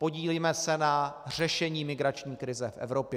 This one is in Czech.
Podílíme se na řešení migrační krize v Evropě.